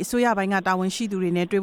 အစိုးရတာဝန်ရှိသူတွေနဲ့ တွေ့